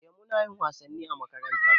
Eh munayin wasanni a makaranta